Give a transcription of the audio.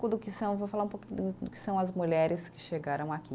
Do que são, vou falar um pouco do do que são as mulheres que chegaram aqui.